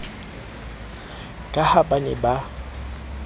ka ha ba ne ba